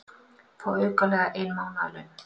Fá aukalega ein mánaðarlaun